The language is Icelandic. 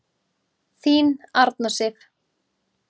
Þín Arna Sif.